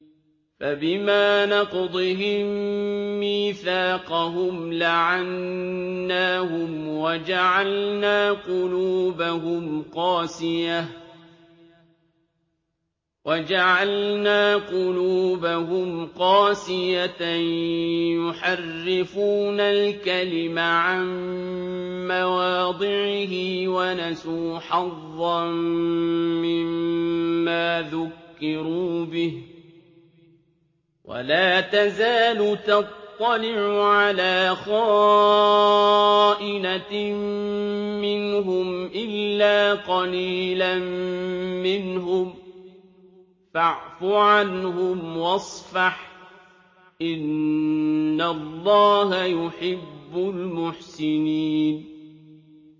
فَبِمَا نَقْضِهِم مِّيثَاقَهُمْ لَعَنَّاهُمْ وَجَعَلْنَا قُلُوبَهُمْ قَاسِيَةً ۖ يُحَرِّفُونَ الْكَلِمَ عَن مَّوَاضِعِهِ ۙ وَنَسُوا حَظًّا مِّمَّا ذُكِّرُوا بِهِ ۚ وَلَا تَزَالُ تَطَّلِعُ عَلَىٰ خَائِنَةٍ مِّنْهُمْ إِلَّا قَلِيلًا مِّنْهُمْ ۖ فَاعْفُ عَنْهُمْ وَاصْفَحْ ۚ إِنَّ اللَّهَ يُحِبُّ الْمُحْسِنِينَ